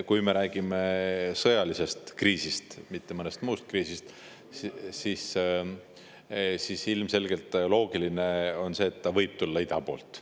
Kui me räägime sõjalisest kriisist, mitte mõnest muust kriisist, siis ilmselgelt loogiline on see, et võib tulla ida poolt.